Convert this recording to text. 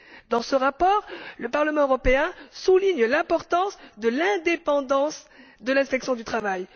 Dans ce rapport, le Parlement européen souligne l'importance de l'indépendance de l'inspection du travail.